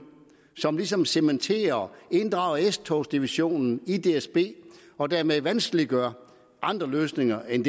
som ligesom cementerer inddrager s togs divisionen i dsb og dermed vanskeliggør andre løsninger end